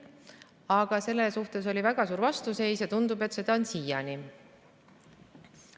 Aga sellele oli väga suur vastuseis ja tundub, et seda on siiani.